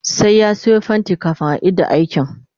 sai ya Sayo fainti kamin a Ida aikin